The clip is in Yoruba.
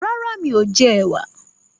Rárá, mí ò jẹ ẹ̀wà.